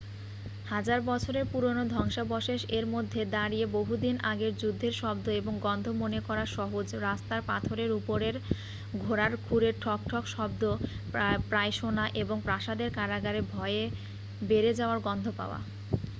হাজার বছরের পুরানো ধ্বংসাবশেষ এর মধ্যে দাঁড়িয়ে বহু দিন আগের যুদ্ধের শব্দ এবং গন্ধ মনে করা সহজ রাস্তার পাথরের উপরে ঘোড়ার খুরের ঠকঠক শব্দ প্রায় শোনা এবং প্রাসাদের কারাগারে ভয় বেড়ে যাওয়ার গন্ধ পাওয়া